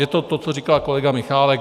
Je to to, co říkal kolega Michálek.